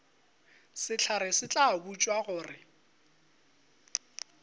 sehlare se tla botšwa gore